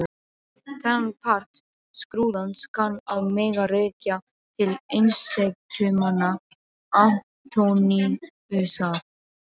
Þennan part skrúðans kann að mega rekja til einsetumanna Antóníusar.